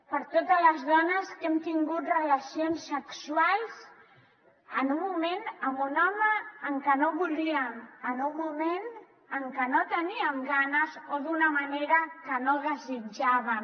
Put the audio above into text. per totes les dones que hem tingut relacions sexuals amb un home en un moment en que no volíem en un moment en que no en teníem ganes o d’una manera que no desitjàvem